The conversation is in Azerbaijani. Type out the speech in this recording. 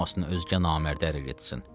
Qoymasın özgə namərdə ərə getsin.